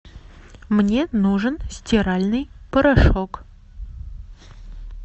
мне нужен стиральный порошок